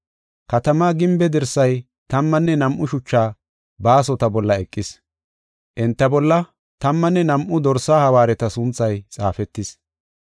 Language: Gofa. Katamaa gimbe dirsay tammanne nam7u shucha baasota bolla eqis. Enta bolla tammanne nam7u Dorsaa hawaareta sunthay xaafetis.